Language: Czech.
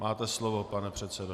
Máte slovo, pane předsedo.